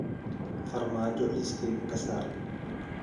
farmaajo liiskayga ka saar